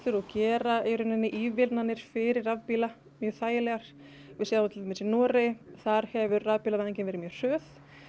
og gera ívilnanir fyrir rafbíla mjög þægilegar við sjáum til dæmis í Noregi þar hefur rafbílavæðingin verið mjög hröð